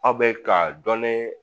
Aw bɛ ka dɔɔnin